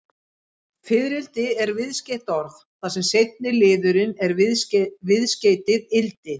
Fiðrildi er viðskeytt orð, þar sem seinni liðurinn er viðskeytið-ildi.